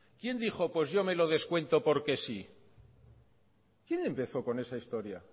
quién dijo pues yo me lo descuento porque sí quién empezó con esa historia